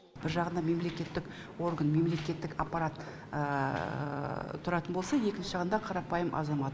бір жағында мемлекеттік орган мемлекеттік аппарат тұратын болса екінші жағында қарапайым азамат